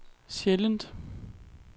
sjældent